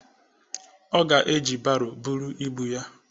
Ọ ga-eji baro buru ibu ya.